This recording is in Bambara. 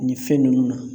Nin fɛn ninnu na